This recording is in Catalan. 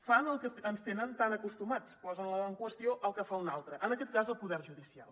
fan el que ens tenen tan acostumats posen en qüestió el que fa un altre en aquest cas el poder judicial